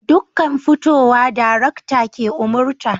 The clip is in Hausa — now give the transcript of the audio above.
Dukkan fitowa darakta ke umarta